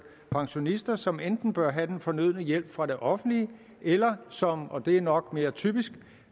pensionister som enten bør have den fornødne hjælp fra det offentlige eller som og det er nok mere typisk